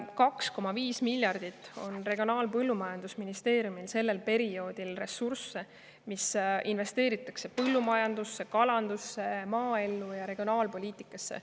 2,5 miljardit on Regionaal- ja Põllumajandusministeeriumil sellel perioodil ressursse, mis investeeritakse põllumajandusse, kalandusse, maaellu ja regionaalpoliitikasse.